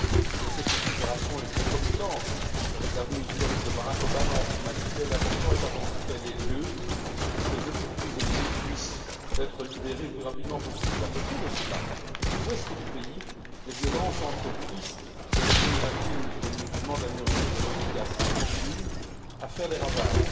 Je sais que cette libération est concomitante avec la venue historique de Barack Obama en Birmanie, mais l'important est avant tout qu'elle ait lieu et surtout, que les autres prisonniers puissent être libérés le plus rapidement possible. Parallèlement, à l'ouest du pays, les violences entre bouddhistes de l'ethnie Rakhine et les musulmans de la minorité des Rohingyas continuent à faire des ravages.